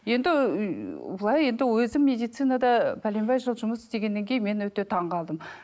енді былай енді өзім медицинада бәленбай жыл жұмыс істегеннен кейін мен өте таңғалдым